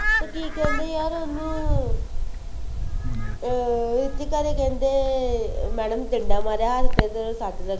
ਅਤੇ ਕੀ ਕਹਿੰਦੇ ਯਾਰ ਉਹਨੂੰ ਅਰ ਰੁਚੀਕਾ ਦੇ ਕਹਿੰਦੇ madam ਨੇ ਡੰਡਾ ਮਾਰਿਆ ਹੱਥ ਤੇ ਉਹਦੇ ਸੱਟ ਲੱਗ।